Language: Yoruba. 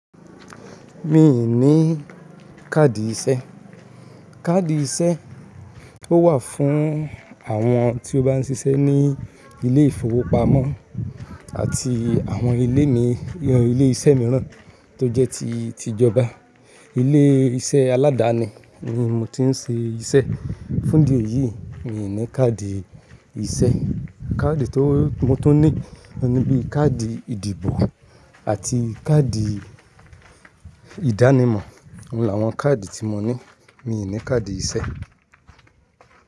Mi ò ní káàdì iṣẹ́. Káàdì iṣẹ́ ó wà fún àwọn tí ó bá ń ṣiṣẹ́ ní ilé ìfowópamọ́ àti àwọn ilé iṣẹ́ mìíràn tó jẹ́ ti tìjọba. Ilé iṣẹ́ aládani ni mò ti ń ṣe iṣẹ́. Fún dí èyí, mi ò ní káàdì iṣẹ́. Káàdì tó ti mo tun ní ni bíi káàdì ìdìbò àti káàdì ìdánimọ̀. Óun láwọn káàdì tí mo ní. Mi ò ní káàdì iṣẹ́.